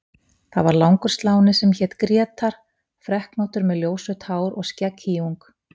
Það var langur sláni sem hét Grétar, freknóttur með ljósrautt hár og skegghýjung.